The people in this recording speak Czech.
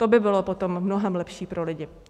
To by bylo potom mnohem lepší pro lidi.